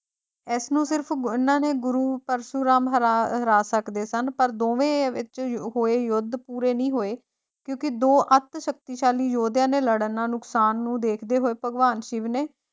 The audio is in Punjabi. ਇਸ ਨੂੰ ਸਿਰਫ ਅਹ ਇਹਨਾਂ ਦੇ ਗੁਰੂ ਪਰਸ਼ੁਰਾਮ ਹਰਾ ਹਰਾ ਸਕਦੇ ਸਨ ਪਰ ਦੋਵੇਂ ਵਿੱਚ ਹੋਏ ਯੁੱਧ ਪੂਰੇ ਨਹੀਂ ਹੋਏ, ਕਿਉਂਕਿ ਦੋ ਅੱਤ ਸ਼ਕਤੀਸ਼ਾਲੀ ਯੋਧਿਆਂ ਦੇ ਲੜਨ ਨਾਲ ਨੁਕਸਾਨ ਨੂੰ ਦੇਖਦੇ ਹੋਏ ਭਗਵਾਨ ਸ਼ਿਵ ਨੇ,